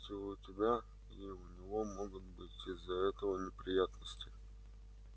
ведь и у тебя и у него могут быть из-за этого неприятности